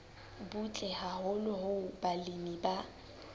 butle haholo hoo balemi ba